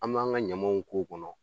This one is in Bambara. An b'an ka ɲamanw k'o kɔnɔ